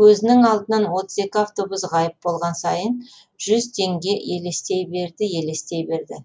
көзінің алдынан отыз екі автобус ғайып болған сайын жүз теңге елестей берді елестей берді